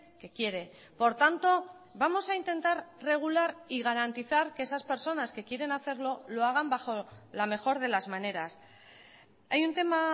que quiere por tanto vamos a intentar regular y garantizar que esas personas que quieren hacerlo lo hagan bajo la mejor de las maneras hay un tema